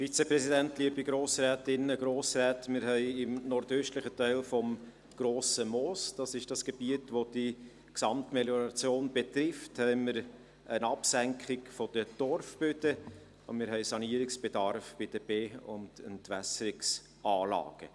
Wir haben im nordöstlichen Teil des «Grossen Mooses» – dies ist das Gebiet, welche von der Melioration betroffen ist – eine Absenkung der Torfböden, und wir haben Sanierungsbedarf bei den Be- und Entwässerungsanlagen.